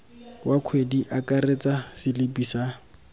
wa kgwedi akaretsa selipi sa